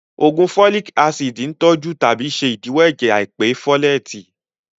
Ògùn fólìk ácìdì ń tọ́jú tàbí ṣe ìdíwọ́ ẹ̀jẹ̀ àìpé fólètì